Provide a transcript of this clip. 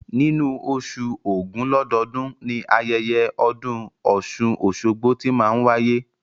Nínú oṣù ògún lọ́dọọ́dun, ni ayẹyẹ ọdún ọ̀ṣun-oṣogbo tí máa n wáyé